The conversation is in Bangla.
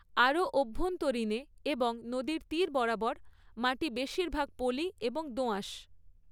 আরও অভ্যন্তরীণে এবং নদীর তীর বরাবর, মাটি বেশিরভাগ পলি এবং দোআঁশ।